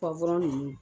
ninnu